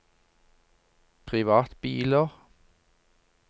privatbiler